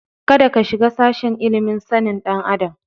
Kada ka shiga sashen ilimin sanin ɗan adam.